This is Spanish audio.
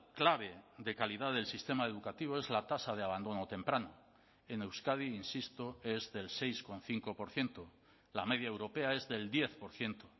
clave de calidad del sistema educativo es la tasa de abandono temprano en euskadi insisto es del seis coma cinco por ciento la media europea es del diez por ciento